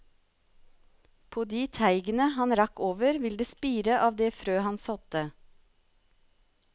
På de teigene han rakk over vil det spire av det frø han sådde.